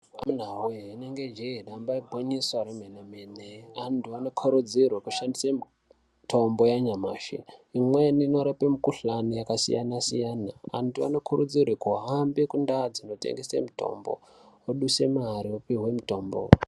Amunawee, rinenge jee, damba igwinyiso remene-men. Antu anokurudzirwe kushandise mitombo yanyamashi, imweni inorape mukhuhlane yakasiyana-siyana. Vantu vanokurudzirwe kuhambe kundau dzinotengese mitombo, voduse mare vopihwe mitombo.